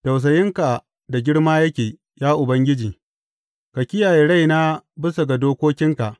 Tausayinka da girma yake, ya Ubangiji; ka kiyaye raina bisa ga dokokinka.